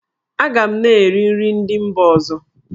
Aga m na-eri nri ndị mba ọzọ.